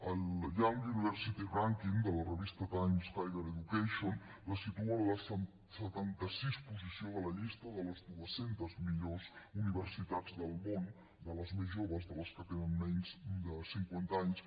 el young university rankings de la revista times higher education la situa en la setanta sisena posició de la llista de les dues centes millors universitats del món de les més joves de les que tenen menys de cinquanta anys